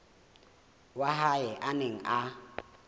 wa hae a neng a